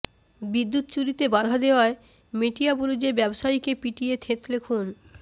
বিদ্যুৎ চুরিতে বাধা দেওয়ায় মেটিয়াবুরুজে ব্যবসায়ীকে পিটিয়ে থেঁতলে খুন